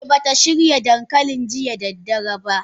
Eh bata shirya dankalin jiya da daddare ba.